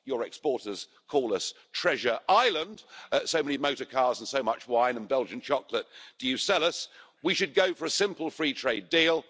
Your exporters call us Treasure Island', so many motor cars and so much wine and Belgian chocolate do you sell us. We should go for a simple free trade deal.